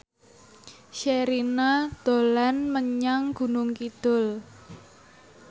Sherina dolan menyang Gunung Kidul